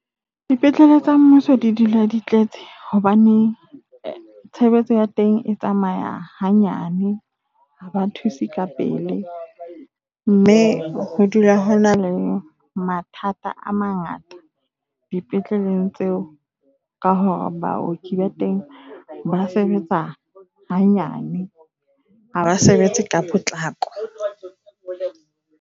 Dipetlele tsa mmuso di dula di tletse hobane tshebetso ya teng e tsamaya hanyane, ha ba thuse ka pele. Mme ho dula ho na le mathata a mangata dipetleleng tseo ka hore baoki ba teng ba sebetsa ha nyane. Ha ba sebetse ka potlako.